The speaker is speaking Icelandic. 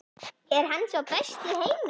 Er hann sá besti í heimi?